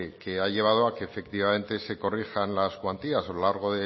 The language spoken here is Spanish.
que ha llevado a que efectivamente se corrijan las cuantías a lo largo